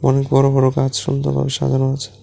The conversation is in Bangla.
অনেক বড়ো বড়ো গাছ সুন্দরভাবে সাজানো আছে।